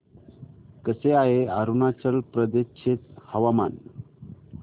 कसे आहे अरुणाचल प्रदेश चे हवामान